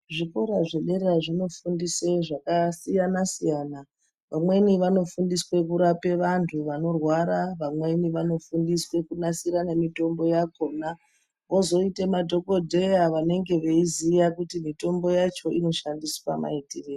Zvikora zvedera zvinofundise zvakasiyana-siyana. Vamweni vanofundiswe kurape vantu vanorwara. Vamweni vanofundiswe kunasire nemitombo yakona. Kozoite madhokodheya vanenge veiziya kuti mitombo yacho inoshandiswa maitirei.